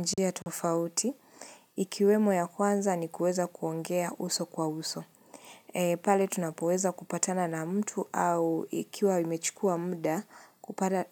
Njia tofauti, ikiwemo ya kwanza ni kuweza kuongea uso kwa uso. Pale tunapoweza kupatana na mtu au ikiwa limechikua mda